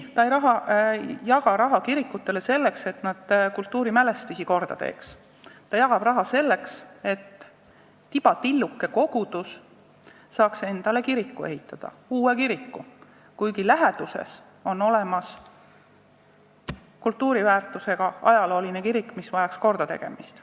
Ja ta ei jaga raha kirikutele selleks, et kultuurimälestised korda tehtaks, ta jagab raha selleks, et tibatilluke kogudus saaks endale ehitada uue kiriku, kuigi läheduses on olemas kultuuriväärtusega ajalooline kirik, mis vajaks korda tegemist.